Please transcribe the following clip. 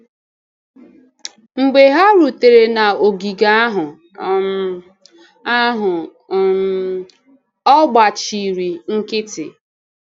Mgbe ha rutere n’ogige ahụ, um ahụ, um ọ gbachiri nkịtị.